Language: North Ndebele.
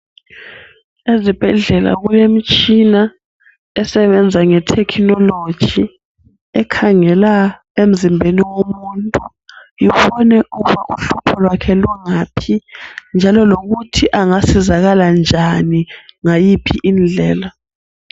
Ezibhedlela kulemtshina esebenza ngethekhinolojiekhangela emzimbeni womuntu ubone ukuba uhlupho lwakhe lungaphi njalo lokuthi angasizakala njani ngayiphi indlela.